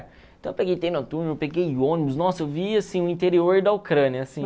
Então eu peguei eu entrei no túnel, eu peguei ônibus, nossa, eu vi assim o interior da Ucrânia, assim.